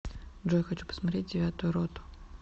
джой хочу посмотреть девятую роту